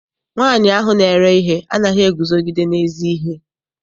Nwaanyi ahụ na-ere ihe anaghị eguzogide n'ezi ihe.